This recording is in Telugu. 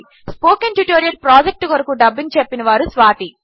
స్పోకెన్ ట్యుటోరియల్ ప్రాజెక్ట్ కొరకు డబ్బింగ్ చెప్పినవారు స్వాతి